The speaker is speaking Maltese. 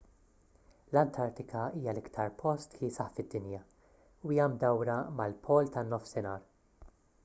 l-antartika hija l-aktar post kiesaħ fid-dinja u hija mdawra mal-pol tan-nofsinhar